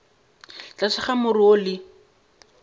tlase ga more wo le